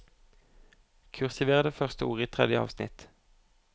Kursiver det første ordet i tredje avsnitt